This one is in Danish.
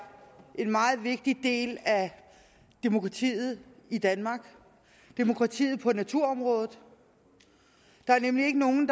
en meget vigtig del af demokratiet i danmark demokratiet på naturområdet der er nemlig ikke nogen